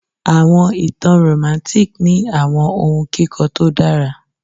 Awọn itan Romantic ni awọn ohun kikọ to dara